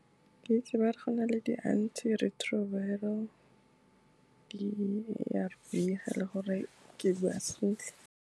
Ke itse ba re go na le di-antiretroviral, di-A_R_V, ga e le gore ke bua sentle.